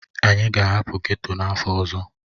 Anyị ga-ahapụ ghetto n'afọ ọzọ.